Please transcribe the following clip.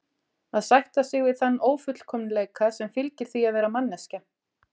Að sætta sig við þann ófullkomleika sem fylgir því að vera manneskja.